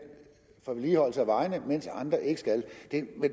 for vedligeholdelse af vejene mens andre ikke skal